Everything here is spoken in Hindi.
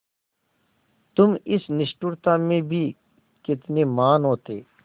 तुम इस निष्ठुरता में भी कितने महान् होते